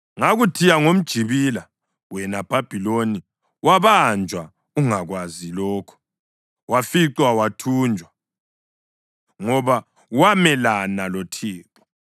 Ngakuthiya ngomjibila, wena Bhabhiloni, wabanjwa ungakakwazi lokho; waficwa wathunjwa, ngoba wamelana loThixo.